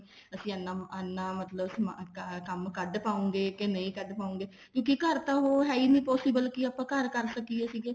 ਅਸੀਂ ਇੰਨਾ ਇੰਨਾ ਮਤਲਬ ਕੰਮ ਕੱਡ ਪਾਉਂਗੇ ਨਹੀਂ ਪਾਉਂਗੇ ਕਿਉਂਕਿ ਘਰ ਤਾਂ ਉਹ ਹੈ ਨੀ possible ਉਹ ਘਰ ਕਰ ਸਕੀਏ ਸੀਗੇ